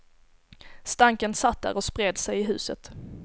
Stanken satt där och spred sig i huset.